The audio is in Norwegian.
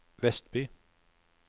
Vestby